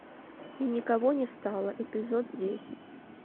и никого не стало эпизод десять